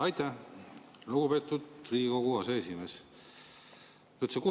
Aitäh, lugupeetud Riigikogu aseesimees!